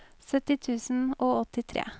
sytti tusen og åttitre